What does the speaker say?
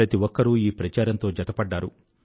ప్రతి ఒక్కరు ఈ ప్రచారంతో జతపడ్డారు